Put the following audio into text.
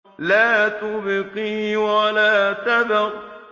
لَا تُبْقِي وَلَا تَذَرُ